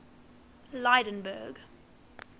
lydenburg